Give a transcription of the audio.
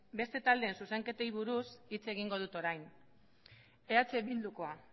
beste taldeen zuzenketei buruz hitz egingo dut orain eh bildukoa